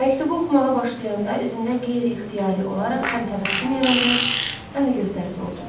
Məktubu oxumağa başlayanda üzündə qeyri-ixtiyari olaraq həm təbəssüm yarandı, həm də gözləri doldu.